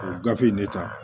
O gafe in ne ta